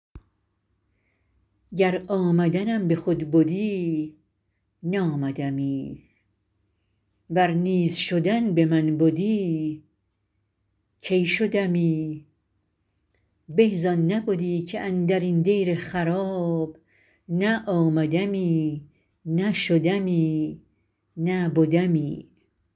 گر آمدنم به خود بدی نآمدمی ور نیز شدن به من بدی کی شدمی به زان نبدی که اندر این دیر خراب نه آمدمی نه شدمی نه بدمی